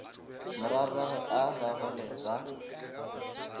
morwarragwe a bag ole ba